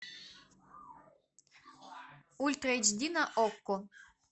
ультра эйч ди на окко